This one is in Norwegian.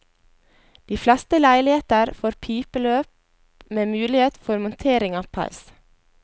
De fleste leiligheter får pipeløp med mulighet for montering av peis.